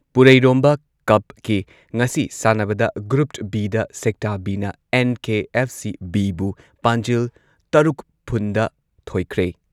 ꯄꯨꯔꯩꯔꯣꯝꯕ ꯀꯞꯀꯤ ꯉꯁꯤ ꯁꯥꯟꯅꯕꯗ ꯒ꯭ꯔꯨꯞ ꯕꯤ ꯗ ꯁꯦꯛꯇꯥ ꯕꯤ ꯅ ꯑꯦꯟ.ꯀꯦ.ꯑꯦꯐ.ꯁꯤ. ꯕꯤ ꯕꯨ ꯄꯥꯟꯖꯤꯜ ꯇꯔꯨꯛ ꯐꯨꯟꯗ ꯊꯣꯏꯈ꯭ꯔꯦ꯫